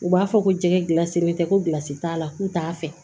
U b'a fɔ ko jɛgɛ gilansilen tɛ kosi t'a la k'u t'a fɛ